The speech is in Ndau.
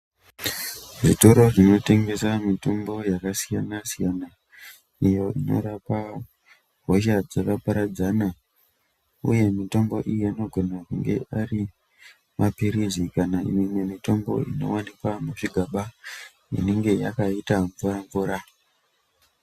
Zvitoro zvinotengesa mitombo yakasiyana siyana iyo inorapa hosha dzakaparadzana uye mitombo iyi inogona kunge ari mapirizi kana imwe mitombo inowanikwa muzvigaba inenge yakaita mvura mvura.